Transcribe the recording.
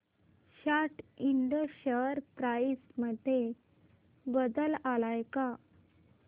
सॅट इंड share price मध्ये बदल आलाय का